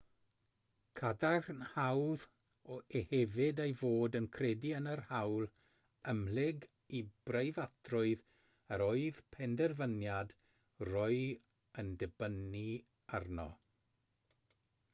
cadarnhaodd e hefyd ei fod yn credu yn yr hawl ymhlyg i breifatrwydd yr oedd penderfyniad roe yn dibynnu arno